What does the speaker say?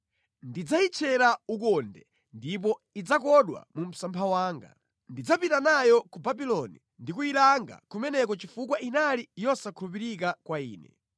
Ndidzayitchera ukonde ndipo idzakodwa mu msampha wanga. Ndidzapita nayo ku Babuloni ndi kuyilanga kumeneko chifukwa inali yosakhulupirika kwa Ine.